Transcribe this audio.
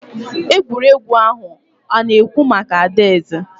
egwuregwu ahụ ana-ekwu maka adaeze